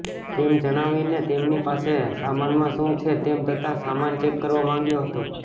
તેમ જણાવી ને તેમની પાસે સામાનમાં શું છે તેમ તથા સામાન ચેક કરવા માંગ્યો હતો